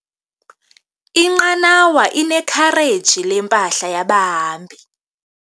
Inqanawa inekhareji lempahla yabahambi.